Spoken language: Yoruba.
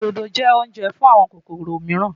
Òdòdó jẹ́ oúnjẹ fún àwọn kòkòrò mìíràn.